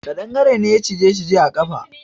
Kadangare ne ya cije shi a kafa jiya.